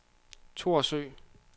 Thorsø